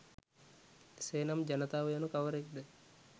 එසේනම් ජනතාව යනු කවරෙක්ද